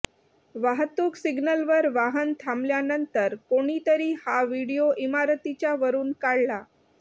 वाहतूक सिग्नलवर वाहन थांबल्यानंतर कोणीतरी हा व्हिडिओ इमारतीच्या वरून काढला